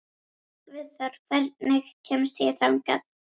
Guðþór, hvernig kemst ég þangað?